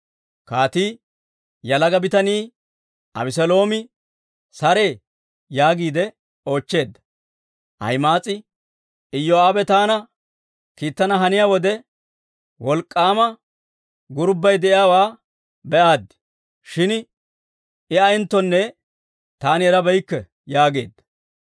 Kaatii, «Yalaga bitanii Abeseeloomi saree?» yaagiide oochcheedda. Ahima'aas'i, «Iyoo'aabe taana kiittana haniyaa wode, wolk'k'aama gurubay de'iyaawaa be'aaddi; shin I ayeenttonne taani erabeykke» yaageedda.